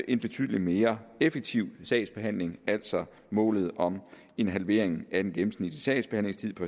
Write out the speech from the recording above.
en betydelig mere effektiv sagsbehandling altså målet om en halvering af den gennemsnitlige sagsbehandlingstid på